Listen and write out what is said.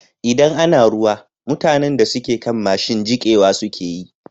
Idan ana ruwa, mutanan da suke kan mashin jikewa suke yi.